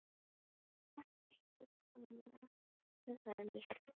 Hvort hún ætti að koma með honum upp í herbergið?